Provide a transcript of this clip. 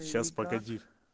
сейчас погоди